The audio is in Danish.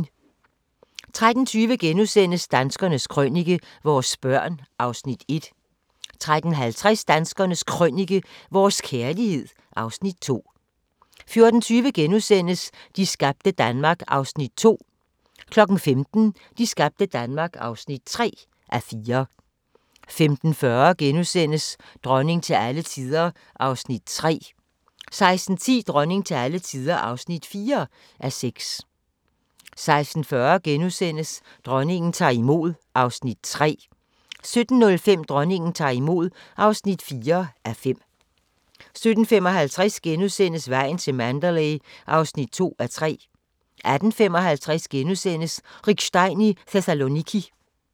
13:20: Danskernes Krønike - vores børn (Afs. 1)* 13:50: Danskernes Krønike - vores kærlighed (Afs. 2) 14:20: De skabte Danmark (2:4)* 15:00: De skabte Danmark (3:4) 15:40: Dronning til alle tider (3:6)* 16:10: Dronning til alle tider (4:6) 16:40: Dronningen tager imod (3:5)* 17:05: Dronningen tager imod (4:5) 17:55: Vejen til Mandalay (2:3)* 18:55: Rick Stein i Thessaloniki *